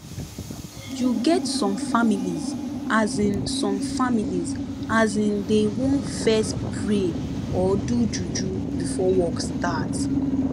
you get some families asin some families asin dey want fess pray or do juju before work start